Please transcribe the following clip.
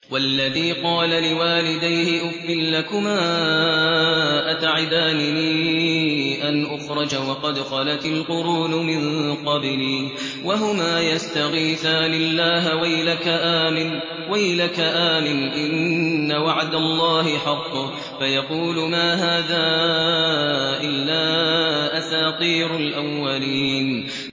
وَالَّذِي قَالَ لِوَالِدَيْهِ أُفٍّ لَّكُمَا أَتَعِدَانِنِي أَنْ أُخْرَجَ وَقَدْ خَلَتِ الْقُرُونُ مِن قَبْلِي وَهُمَا يَسْتَغِيثَانِ اللَّهَ وَيْلَكَ آمِنْ إِنَّ وَعْدَ اللَّهِ حَقٌّ فَيَقُولُ مَا هَٰذَا إِلَّا أَسَاطِيرُ الْأَوَّلِينَ